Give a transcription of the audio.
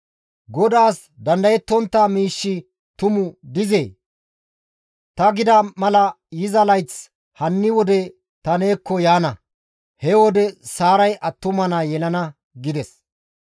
GODAAS dandayettontta miishshi tumu dizee? Ta gida mala yiza layth hanni wode ta neekko yaana; he wode Saaray attuma naa yelana» gides.